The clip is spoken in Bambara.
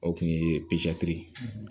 O kun ye